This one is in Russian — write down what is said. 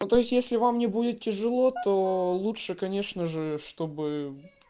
ну то есть если вам не будет тяжело то лучше конечно же чтобы